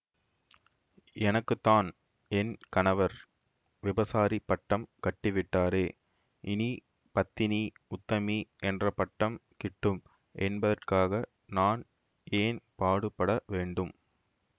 எனக்கு தான் என் கணவர் விபசாரிப் பட்டம் கட்டிவிட்டாரே இனி பத்தினி உத்தமி என்ற பட்டம் கிட்டும் என்பதற்காக நான் ஏன் பாடுபடவேண்டும்